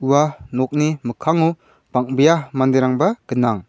nokni mikkango bang·bea manderangba gnang.